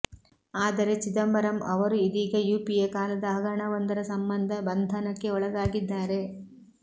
ಆದರೆ ಚಿದಂಬರಂ ಅವರು ಇದೀಗ ಯುಪಿಎ ಕಾಲದ ಹಗರಣವೊಂದರ ಸಂಬಂಧ ಬಂಧನಕ್ಕೆ ಒಳಗಾಗಿದ್ದಾರೆ